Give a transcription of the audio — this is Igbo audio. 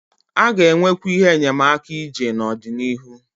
A ga-enwekwu ihe enyemaka ije n'ọdịnihu.